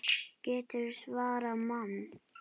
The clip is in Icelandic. GETURÐU SVARAÐ MANNI!